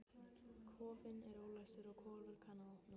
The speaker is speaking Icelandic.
Kofinn er ólæstur og Kolur kann að opna.